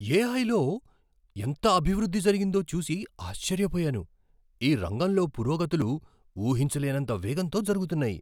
ఏఐలో ఎంత అభివృద్ధి జరిగిందో చూసి ఆశ్చర్యపోయాను. ఈ రంగంలో పురోగతులు ఊహించలేనంత వేగంతో జరుగుతున్నాయి.